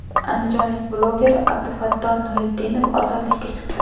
Andijonlik bloger Abdufatto Nuritdinov ozodlikka chiqdi.